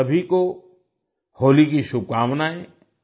आप सभी को होली की शुभकामनाएँ